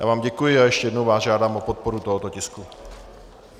Já vám děkuji a ještě jednou vás žádám o podporu tohoto tisku.